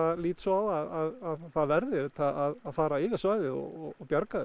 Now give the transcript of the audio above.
lít svo á að það verði auðvitað að fara yfir svæðið og bjarga þessu